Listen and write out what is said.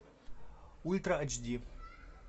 ультра ач ди